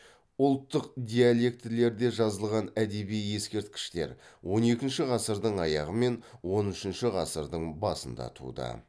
ұлттық диалектілерде жазылған әдеби ескерткіштер он екінші ғасырдың аяғы мен он үшінші ғасырдың басында туды